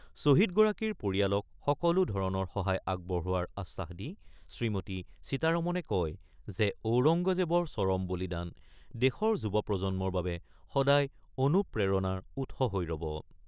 শ্বহীদগৰাকীৰ পৰিয়ালক সকলো ধৰণৰ সহায় আগবঢ়োৱাৰ আশ্বাস দি শ্ৰীমতী সীতাৰমনে কয় যে, ঔৰংগজেৱৰ চৰম বলিদান দেশৰ যুৱ প্ৰজন্মৰ বাবে সদায় অনুপ্ৰেৰণাৰ উৎস হৈ ৰ'ব।